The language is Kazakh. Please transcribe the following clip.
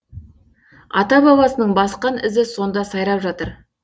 ата бабасының басқан ізі сонда сайрап жатыр